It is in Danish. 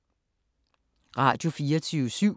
Radio24syv